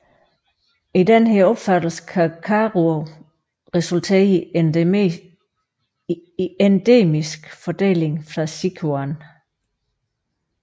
I denne opfattelse kan Karuo resultere i endemisk fordeling fra Sichuan